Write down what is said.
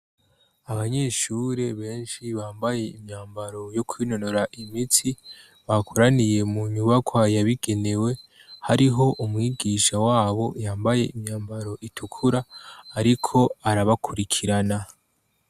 Abanyeshuri benshi bambaye imyambaro yo kwinonora imitsi, bakoraniye mu nyubakwa yabigenewe hariho umwigisha wabo yambaye imyambaro itukura ariko arabakurikirana.